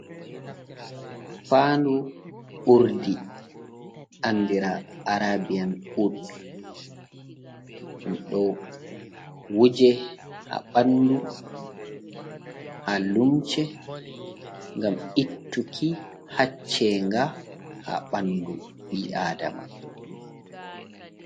Fandu urdi andira arabian ud, ɗum ɗo wuje ha ɓanɗu, ha lumce, ngam ittuki haccenga ha ɓanɗu ɓi adama.